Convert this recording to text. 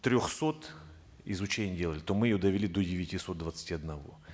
трехсот изучений делали то мы ее довели до девятисот двадцати одного